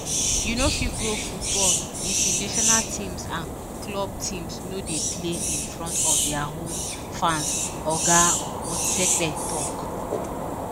“you no fit grow football if di national teams and club teams no dey play in front of dia home fans” oga motsepe tok.